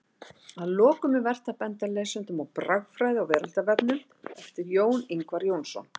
Að lokum er vert að benda lesendum á Bragfræði á veraldarvefnum eftir Jón Ingvar Jónsson.